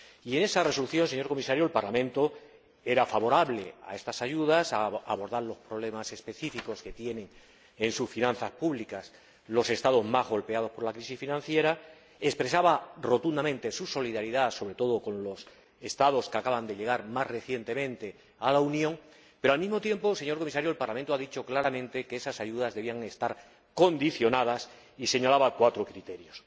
En esa Resolución, señor Comisario, el Parlamento era favorable a estas ayudas, a abordar los problemas específicos que tienen en sus finanzas públicas los Estados más golpeados por la crisis financiera, expresaba rotundamente su solidaridad, sobre todo con los Estados que acaban de llegar más recientemente a la Unión, pero, al mismo tiempo, señor Comisario, el Parlamento decía claramente que esas ayudas debían estar condicionadas y señalaba cuatro criterios,